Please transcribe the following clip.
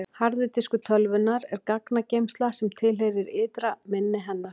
harði diskur tölvunnar er gagnageymsla sem tilheyrir ytra minni hennar